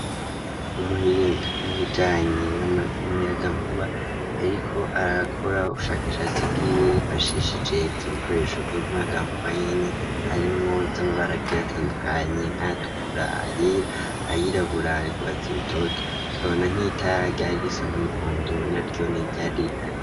Umuhinga mu bijanye n'umuyagankuba yariko arakora ubushakashatsi bwiwe yifashishije ivyo bikoresho vy'umuyagankuba nyene harimwo z'amabara agiye atandukanye nkayatukura, ayera, ayirabura, ayugwatsi rutoto tukabona nk'itara ryar risa n'umuhondo na ryone ryari rihari.